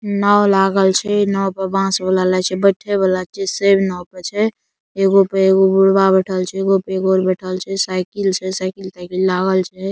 नाव लागल छै नाव पे बास वाला लागय छै बैठे वाला छै ऐगो पे एगो बुढ़वा बैठएल छै एगो पर एगो और बैठएल छै साइकिल छै साइकिल तएकील लागल छै।